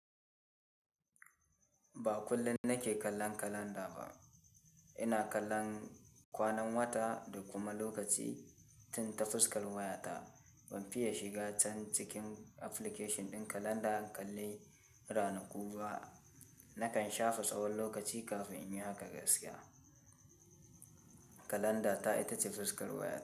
Ba kullum nake kallon kalanda ba. Ina kallon kwanan wata da kuma lokaci tun ta fuskar wayata. Ban fiye shiga can cikin application din kalanda in kalle ranaku ba. Nakan shafa tsawon lokaci kafin in yi haka gaskiya. Kalanda ta ita ce fuskar wayata.